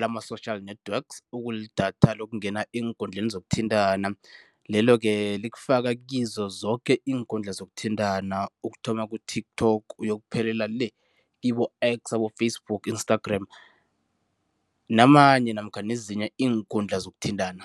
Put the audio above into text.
lama-social network okulidatha lokungena eenkundleni zokuthintana, lelo-ke likufaka kizo zoke iinkundla zokuthintana ukuthoma ku-TikTok uyokuphelela le kibo-X, Facebook, Instagram namanye namkha nezinye iinkundla zokuthintana.